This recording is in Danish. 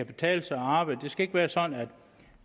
betale sig at arbejde det skal ikke være sådan